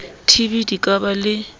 tb di ka ba le